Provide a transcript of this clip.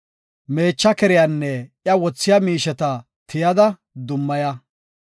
Meecha keriyanne iya wothiya miisheta tiyada, dummaya.